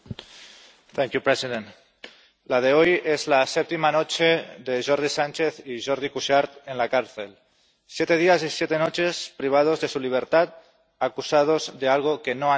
Señor presidente. La de hoy es la séptima noche de Jordi Sánchez y Jordi Cuixart en la cárcel siete días y siete noches privados de su libertad, acusados de algo que no han hecho.